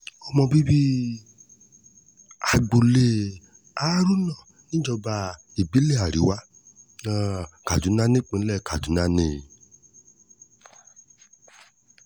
ọmọ bíbí um agboolé haruna níjọba ìbílẹ̀ àríwá um kaduna nípínlẹ̀ kaduna ni